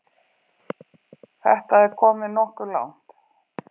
Þetta er komið nokkuð langt.